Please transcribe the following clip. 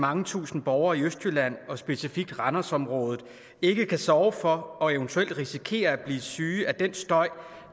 mange tusinde borgere i østjylland og specifikt randers området ikke kan sove for og eventuelt risikerer at blive syge af den støj